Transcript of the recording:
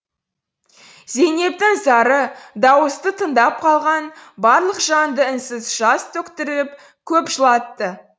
зейнептің зары дауысты тыңдап қалған барлық жанды үнсіз жас төктіріп көп жылатты